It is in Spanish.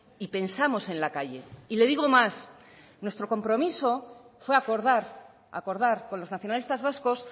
y pensamos en la calle y le digo más nuestro compromiso fue acordar acordar con los nacionalistas vascos